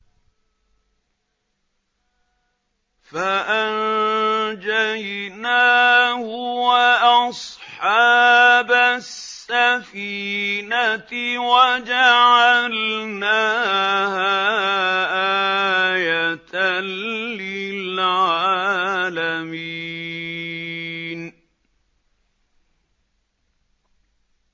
فَأَنجَيْنَاهُ وَأَصْحَابَ السَّفِينَةِ وَجَعَلْنَاهَا آيَةً لِّلْعَالَمِينَ